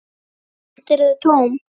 Samt eru þau tóm.